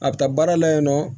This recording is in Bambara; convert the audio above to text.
A bɛ taa baara la yen nɔ